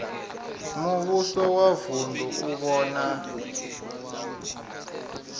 muvhuso wa vunu u vhona